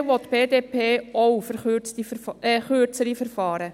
Generell will die BDP auch kürzere Verfahren.